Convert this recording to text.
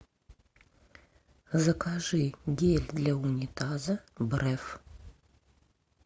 закажи гель для унитаза бреф